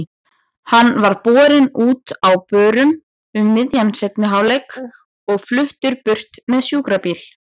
Hann var borinn út á börum um miðjan seinni hálfleik og fluttur burt í sjúkrabíl.